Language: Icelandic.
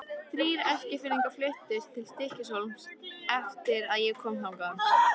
Þrír Eskfirðingar fluttust til Stykkishólms eftir að ég kom þangað.